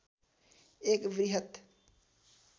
एक वृहत